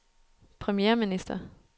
premierminister